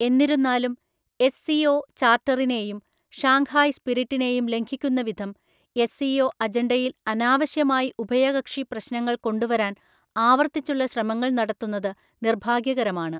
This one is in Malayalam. എന്നിരുന്നാലും, എസ്.സി.ഒ. ചാര്‍ട്ടറിനെയും ഷാങ്ഹായ് സ്പിരിറ്റിനെയും ലംഘിക്കുന്ന വിധം എസ്.സി.ഒ. അജണ്ടയില്‍ അനാവശ്യമായി ഉഭയകക്ഷി പ്രശ്നങ്ങള്‍ കൊണ്ടുവരാന്‍ ആവർത്തിച്ചുള്ള ശ്രമങ്ങള്‍ നടത്തുന്നത് നിർഭാഗ്യകരമാണ്.